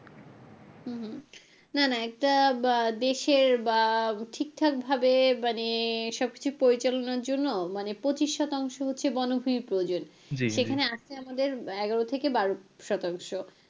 হুম না না একটা আহ দেশের বা ঠিকঠাক ভাবে মানে সব কিছু পরিচালনার জন্য মানে পঁচিশ শতাংশ হচ্ছে বনভুমির প্রয়োজন সেখানে আছে আমাদের এগারো থেকে বারো শতাংশ।